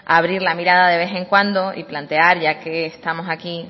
abrir la mirada de vez en cuando y plantear ya que estamos aquí